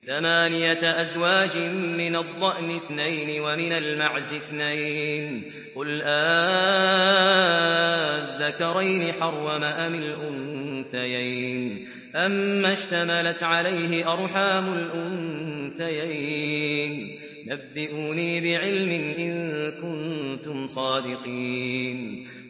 ثَمَانِيَةَ أَزْوَاجٍ ۖ مِّنَ الضَّأْنِ اثْنَيْنِ وَمِنَ الْمَعْزِ اثْنَيْنِ ۗ قُلْ آلذَّكَرَيْنِ حَرَّمَ أَمِ الْأُنثَيَيْنِ أَمَّا اشْتَمَلَتْ عَلَيْهِ أَرْحَامُ الْأُنثَيَيْنِ ۖ نَبِّئُونِي بِعِلْمٍ إِن كُنتُمْ صَادِقِينَ